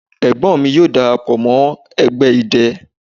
Egbon mi yoo darapo mo egbe idẹ